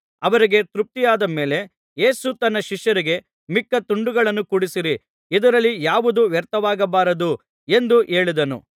ಅವರಿಗೆ ತೃಪ್ತಿಯಾದ ಮೇಲೆ ಯೇಸು ತನ್ನ ಶಿಷ್ಯರಿಗೆ ಮಿಕ್ಕ ತುಂಡುಗಳನ್ನು ಕೂಡಿಸಿರಿ ಇದರಲ್ಲಿ ಯಾವುದೂ ವ್ಯರ್ಥವಾಗಬಾರದು ಎಂದು ಹೇಳಿದನು